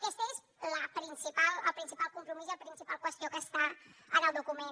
aquest és el principal compromís i la principal qüestió que està en el document